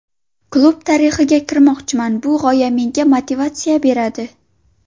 Klub tarixiga kirmoqchiman, bu g‘oya menga motivatsiya beradi.